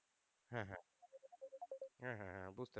হ্যাঁ হ্যাঁ হ্যাঁ হ্যাঁ হ্যাঁ বুঝতে পারছি।